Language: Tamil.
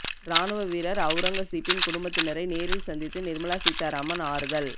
ராணுவ வீரர் அவுரங்கசீப்பின் குடும்பத்தினரை நேரில் சந்தித்து நிர்மலா சீதாராமன் ஆறுதல்